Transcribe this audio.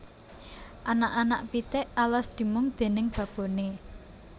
Anak anak pitik alas dimong déning baboné